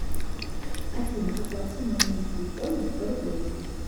афина оплати мой номер телефона сто рублей